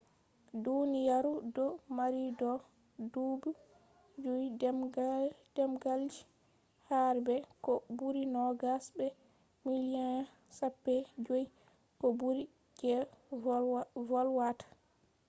duniyaru do mari do dubu juy demgalji har be ko buri nogas be miliyan chappai joy ko buri je volwata